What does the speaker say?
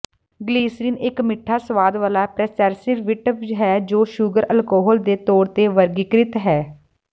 glycerine ਇਕ ਮਿੱਠਾ ਸੁਆਦ ਵਾਲਾ ਪ੍ਰੈਸਰਵੇਟਿਵ ਹੈ ਜੋ ਸ਼ੂਗਰ ਅਲਕੋਹਲ ਦੇ ਤੌਰ ਤੇ ਵਰਗੀਕ੍ਰਿਤ ਹੈ